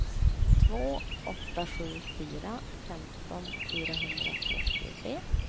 två åtta sju fyra femton fyrahundratrettiotre